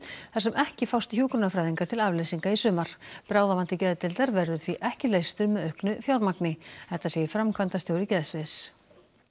þar sem ekki fást hjúkrunarfræðingar til afleysinga í sumar bráðavandi geðdeildar verður því ekki leystur með auknu fjármagni þetta segir framkvæmdastjóri geðsviðs